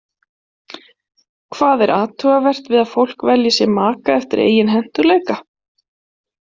Hvað er athugavert við að fólk velji sér maka eftir eigin hentugleika?